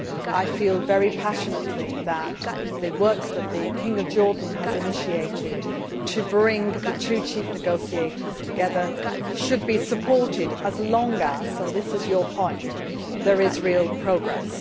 I feel very passionately that the work that the King of Jordan has initiated to bring the two chief negotiators together should be supported as long as and this is your point there is real progress.